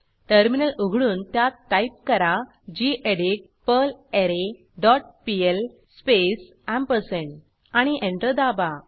terminal उघडून त्यात type करा gedit perlre dot pl space ampersand आणि एंटर दाबा